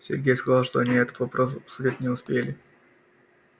сергей сказал что они этот вопрос обсудить не успели